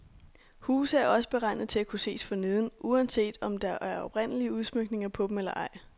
Huse er også beregnet til at kunne ses forneden, uanset om der er oprindelige udsmykninger på dem eller ej.